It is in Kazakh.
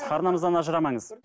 арнамыздан ажырамаңыз